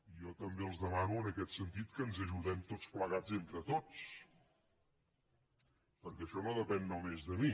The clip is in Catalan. jo també els demano en aquest sentit que ens ajudem tots plegats entre tots perquè això no depèn només de mi